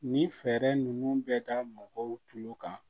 Ni fɛɛrɛ ninnu bɛ da mɔgɔw tulo kan